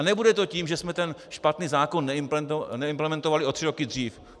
A nebude to tím, že jsme ten špatný zákon neimplementovali o tři roky dřív.